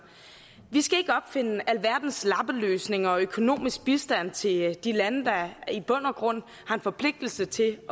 vi skal ikke opfinde alverdens lappeløsninger og økonomisk bistand til de lande der i bund og grund har en forpligtelse til